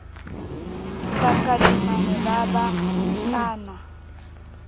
takadimane ba ba ba nkana